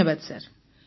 ଧନ୍ୟବାଦ ସାର୍